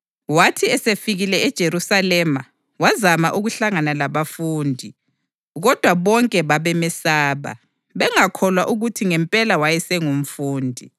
Wathi esefikile eJerusalema wazama ukuhlangana labafundi, kodwa bonke babemesaba, bengakholwa ukuthi ngempela wayesengumfundi.